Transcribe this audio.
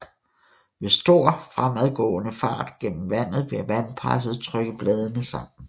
Ved stor fremadgående fart gennem vandet vil vandpresset trykke bladene sammen